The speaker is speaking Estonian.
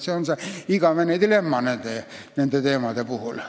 See on see igavene dilemma nende teemade puhul.